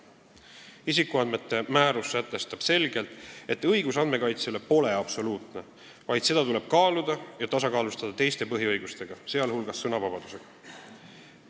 Isikuandmete kaitse määrus sätestab selgelt, et õigus andmekaitsele pole absoluutne, vaid seda tuleb kaaluda ja tasakaalustada teiste põhiõigustega, sh sõnavabadusega.